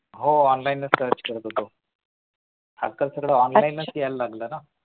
हो online search करत होतो. आजकाल सगळ online यायला लागलंय ना